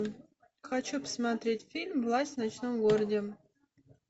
хочу посмотреть фильм власть в ночном городе